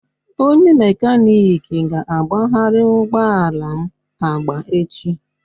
Onye mekaniki ga-agbagharị ụgbọ ala m agba echi